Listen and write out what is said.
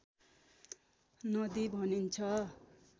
नदी भनिन्छ